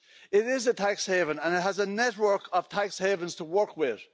It is a tax haven, and it has a network of tax havens to work with.